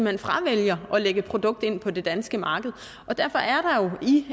hen fravælger at lægge et produkt ind på det danske marked derfor